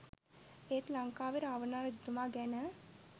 එත් ලංකාවේ රාවණා රජතුමා ගැන